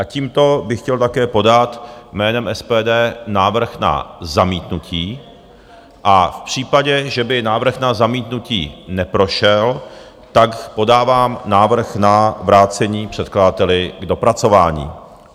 A tímto bych chtěl také podat jménem SPD návrh na zamítnutí a v případě, že by návrh na zamítnutí neprošel, tak podávám návrh na vrácení předkladateli k dopracování.